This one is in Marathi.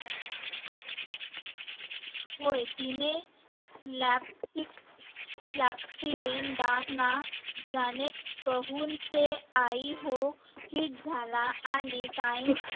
होय तिने जाणे कहून से आई हू hit हिट झाला आणि times